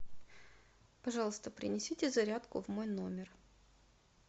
пожалуйста принесите зарядку в мой номер